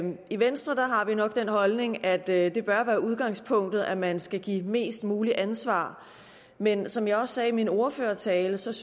i venstre har vi nok den holdning at det bør være udgangspunktet at man skal give mest muligt ansvar men som jeg også sagde i min ordførertale synes